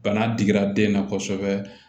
Bana digira den na kosɛbɛ